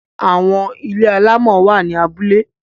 Àwọn ilé alámọ̀ wà ní abúlé.